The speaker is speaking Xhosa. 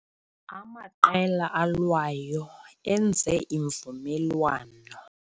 Amaqela alwayo enze imvumelwano